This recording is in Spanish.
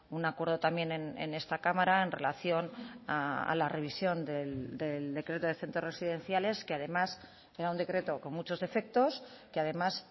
un acuerdo también en esta cámara en relación a la revisión del decreto de centros residenciales que además era un decreto con muchos defectos que además